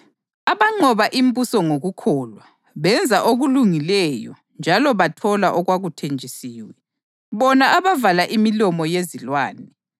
abanqoba imibuso ngokukholwa benza okulungileyo njalo bathola okwakuthenjisiwe; bona abavala imilomo yezilwane,